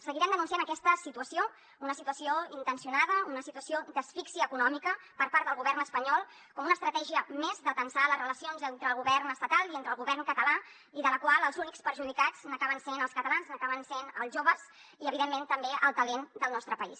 seguirem denunciant aques·ta situació una situació intencionada una situació d’asfíxia econòmica per part del govern espanyol com una estratègia més de tensar les relacions entre el govern es·tatal i el govern català i en la qual els únics perjudicats acaben sent els catalans acaben sent els joves i evidentment també el talent del nostre país